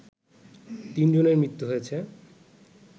৩ জনের মৃত্যু হয়েছে